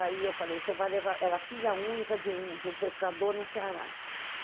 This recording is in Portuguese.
Aí eu falei, você vai levar... Ela filha única de um de um pescador no Ceará.